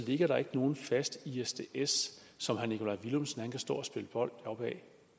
ligger der ikke nogen fast isds isds som herre nikolaj villumsen kan stå og spille bold op ad